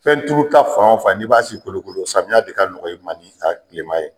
Fɛnturuta fan o fan n'i b'a si kolokolo samiya de ka nɔgɔ i ma ni a tilema ye.